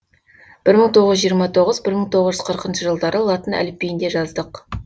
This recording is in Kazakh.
бір мың тоғыз жүз жиырма тоғыз бір мың тоғыз жүз қырқыншы жылдары латын әліпбиінде жаздық